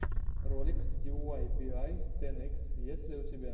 ролик диуайбиай тэн икс есть ли у тебя